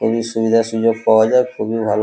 খুবই সুবিধা সুযোগ পাওয়া যায় খুবই ভালো